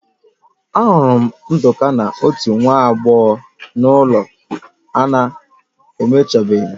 Ahụrụ m Nduka na otu nwa agbọghọ na ụlọ a na-emechabeghị